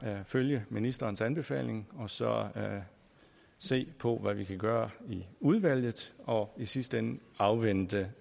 følge ministerens anbefaling og så se på hvad vi kan gøre i udvalget og i sidste ende afvente